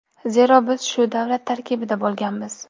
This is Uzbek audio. Zero biz shu davlat tarkibida bo‘lganmiz.